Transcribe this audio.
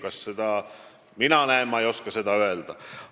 Kas mina seda näen, ma ei oska öelda.